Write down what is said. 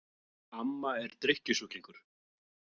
Amma er drykkjusjúklingur.